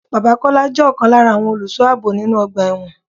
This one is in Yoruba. Bàbá Kọ́lá jẹ ọkan lára àwọn olùsọ ààbò nínú ọgbà ẹ̀wọ̀n.